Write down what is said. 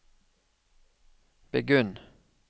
begynn